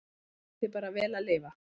Ég bið þig bara vel að lifa